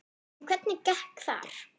En hvernig gekk þar?